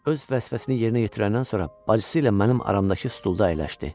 Öz vəsvəsini yerinə yetirəndən sonra bacısı ilə mənim aramda stulda əyləşdi.